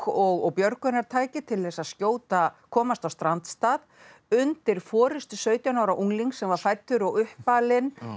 og björgunartæki til þess að komast á strandstað undir forystu sautján ára unglings sem var fæddur og uppalinn